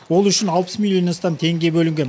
ол үшін алпыс миллионнан астам теңге бөлінген